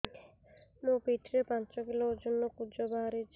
ମୋ ପିଠି ରେ ପାଞ୍ଚ କିଲୋ ଓଜନ ର କୁଜ ବାହାରିଛି